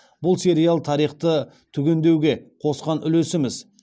бұл сериал тарихты түгендеуге қосқан үлесіміз